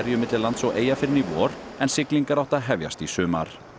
milli lands og eyja fyrr en í vor en siglingar áttu að hefjast í sumar